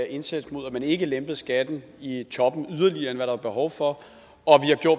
indsats mod at man ikke lempede skatten i toppen yderligere end hvad der var behov for